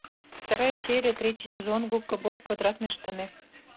вторая серия третий сезон губка боб квадратные штаны